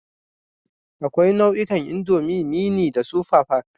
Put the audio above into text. Akwai nau'ikan indomie, mini da super pack